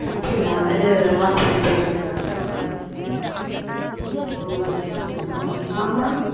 அப்டியா இது hospital போய்டு வந்துட்டாங்க அன் ஒ அப்டியா மாமா